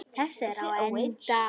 Þessi er á enda.